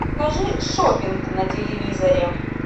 покажи шоппинг на телевизоре